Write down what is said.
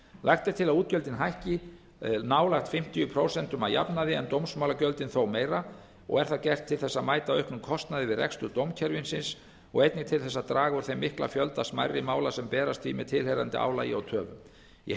lagt er til að útgjöldin hækki nálægt fimmtíu prósent að jafnaði en dómsmálagjöldin þó meira og er það gert til ber að mæta auknum kostnaði við rekstur dómskerfisins og einnig til þess að draga úr þeim mikla fjölda smærri mála sem berast því með tilheyrandi álagi og töfum í heild